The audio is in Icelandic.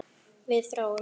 Við þráum.